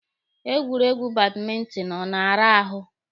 Egwuregwu badmentinụ na-ara ahụ.